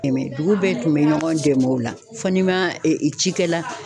dugu bɛɛ tun bɛ ɲɔgɔn dɛmɛ o la, fɔ ni ma ɛ cikɛla